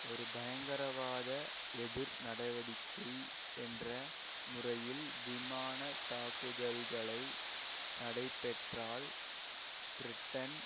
ஒரு பயங்கரவாத எதிர் நடவடிக்கை என்ற முறையில் விமான தாக்குதல்களை நடைபெற்றால் பிரிட்டன்